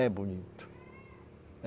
É bonito. é